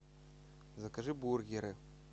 закажи бургеры